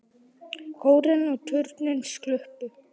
Kórinn og turninn sluppu.